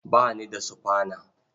Ba ni da sufana.